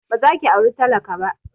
Ba za ki aura talaka ba!